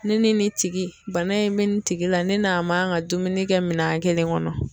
Ne ni tigi bana in bɛ nin tigi la ne n'a man ka dumuni kɛ minɛn kelen kɔnɔ.